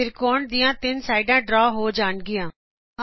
ਤ੍ਰਿਕੋਣ ਦੀਆ ਤਿੰਨੇ ਸਾਈਡਾ ਡਰਾ ਹੋ ਜਾਣਗੀਆ